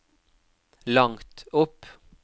langt opp